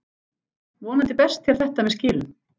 Vonandi berst þér þetta með skilum.